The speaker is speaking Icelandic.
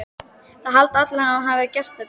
Það halda allir að hann hafi gert þetta.